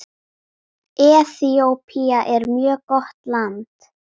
Eþíópía er mjög gott land.